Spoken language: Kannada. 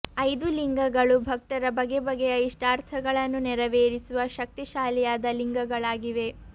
ಐದು ಲಿಂಗಗಳು ಭಕ್ತರ ಬಗೆ ಬಗೆಯ ಇಷ್ಟಾರ್ಥಗಳನ್ನು ನೆರವೇರಿಸುವ ಶಕ್ತಿ ಶಾಲಿಯಾದ ಲಿಂಗಗಳಾಗಿವೆ